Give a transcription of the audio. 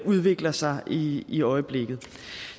udvikler sig i i øjeblikket